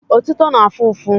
Otito na-afụ ụfụ.